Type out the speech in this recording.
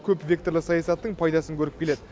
көпвекторлы саясаттың пайдасын көріп келеді